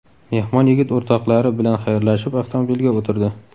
Mehmon yigit o‘rtoqlari bilan xayrlashib avtomobilga o‘tirdi.